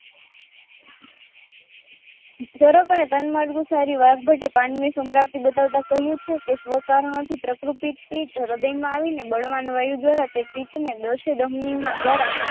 ચરકોએ બતાવતા કહ્યું છે કે સ્વકારણો થી પ્રકૃતિ હૃદયમાં આવીને બળવાન વાયુ દ્વારા તે પિત્ત ને દ્રશ્ય દંડની દ્વારા